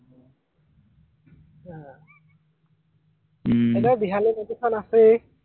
আহ উম এনেও বিহালী নদীখন আছেই